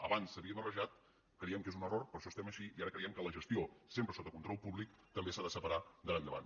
abans s’havia barrejat creiem que és un error per això estem així i ara creiem que la gestió sempre sota control públic també s’ha de separar d’ara endavant